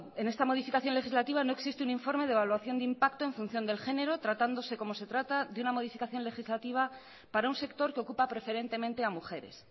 en esta modificación legislativa no existe un informe de evaluación de impacto en función del género tratándose como se trata de una modificación legislativa para un sector que ocupa preferentemente a mujeres